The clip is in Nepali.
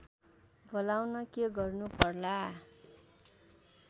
बोलाउन के गर्नु पर्ला